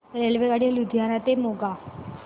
रेल्वेगाडी लुधियाना ते मोगा